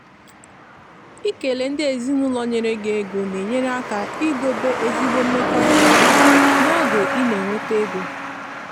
ikele ndị ezinụlọ nyere gi ego na-enyere aka idobe ezigbo mmekọrịta n’oge ị na-enweta ego.